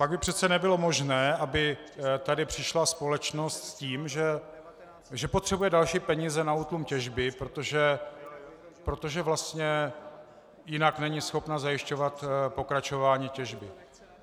Pak by přece nebylo možné, aby tady přišla společnost s tím, že potřebuje další peníze na útlum těžby, protože vlastně jinak není schopna zajišťovat pokračování těžby.